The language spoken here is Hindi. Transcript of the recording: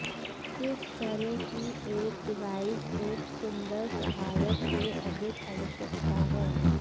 इस तरह की एक डिवाइस एक सुंदर सहायक से अधिक आवश्यकता है